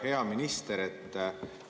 Hea minister!